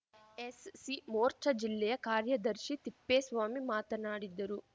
ಎಸ್‌ಸಿಮೋರ್ಚಾ ಜಿಲ್ಲೆಯ ಕಾರ್ಯದರ್ಶಿ ತಿಪ್ಪೇಸ್ವಾಮಿ ಮಾತನಾಡಿದ್ದರು